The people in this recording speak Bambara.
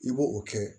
I b'o o kɛ